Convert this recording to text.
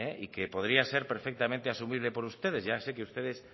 y que podría ser perfectamente asumible por ustedes ya sé que ustedes